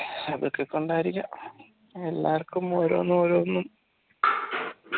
എല്ലാവർക്കും ഓരോന്നും ഓരോന്നും